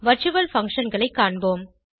virtual functionகளை காண்போம்